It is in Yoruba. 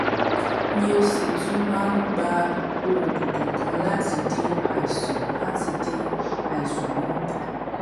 mi ò sì tún máa ń gba oògùn kankan láti dín àìsàn láti dín àìsàn náà kù